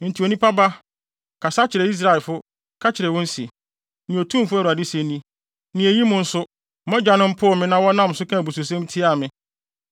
“Enti onipa ba, kasa kyerɛ Israelfo, ka kyerɛ wɔn se, ‘Nea Otumfo Awurade se ni: Na eyi mu nso, mo agyanom poo me na wɔnam so kaa abususɛm tiaa me: